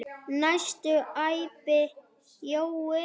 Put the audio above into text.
næstum æpti Jói.